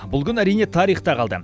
бұл күн әрине тарихта қалды